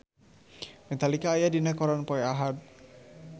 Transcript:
Metallica aya dina koran poe Ahad